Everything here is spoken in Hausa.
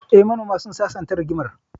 Eh, manoman sun sasanta rigimar